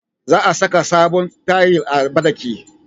Za a saka sabon tayil a banɗaki